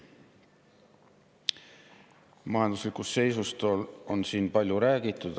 Majanduslikust seisust on siin palju räägitud.